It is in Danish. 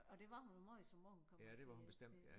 Og det var hun jo måj som ung kan man sige det